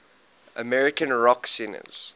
american rock singers